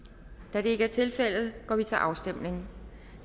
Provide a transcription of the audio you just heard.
da det ikke er tilfældet går vi til afstemning